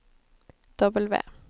W